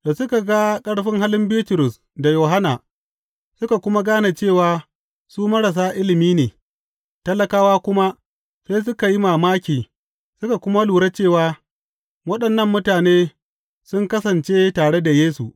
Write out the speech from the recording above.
Da suka ga ƙarfin halin Bitrus da Yohanna suka kuma gane cewa su marasa ilimi ne, talakawa kuma, sai suka yi mamaki suka kuma lura cewa waɗannan mutane sun kasance tare da Yesu.